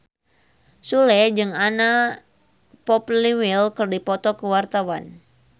Sule jeung Anna Popplewell keur dipoto ku wartawan